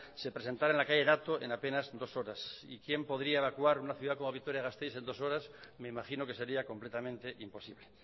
se presentara en la calle dato en apenas dos horas y quién podría evacuar una ciudad como vitoria gasteiz en dos horas me imagino que sería completamente imposible